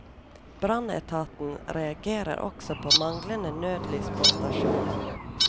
Brannetaten reagerer også på manglende nødlys på stasjonen.